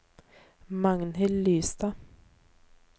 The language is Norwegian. Magnhild Lystad